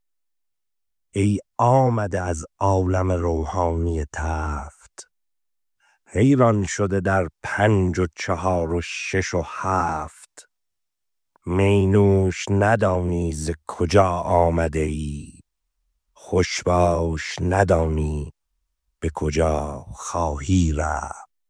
ای آمده از عالم روحانی تفت حیران شده در پنج و چهار و شش و هفت می نوش ندانی ز کجا آمده ای خوش باش ندانی به کجا خواهی رفت